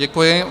Děkuji.